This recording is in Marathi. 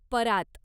परात